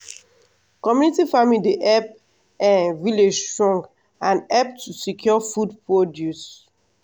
community farming dey help um village strong and help to secure food produce.